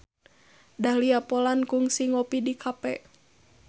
Dahlia Poland kungsi ngopi di cafe